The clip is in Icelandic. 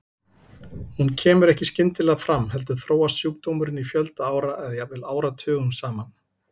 Hún kemur ekki skyndilega fram heldur þróast sjúkdómurinn í fjölda ára eða jafnvel áratugum saman.